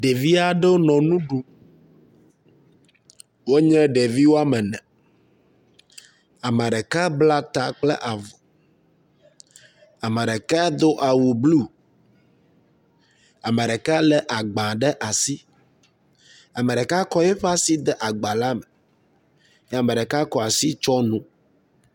Ɖevi aɖewo nɔ nu ɖum. Wonye ɖevi wome ene. Ame ɖeka bla ta kple avɔ, ame ɖeka do awu blu, ame ɖeka lé agba ɖe asi. Ame ɖeka kɔ eƒe asi de agba la me ye ame ɖeka kɔ asi tsɔ nu.